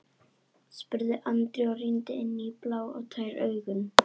spurði Andri og rýndi inn í blá og tær augun.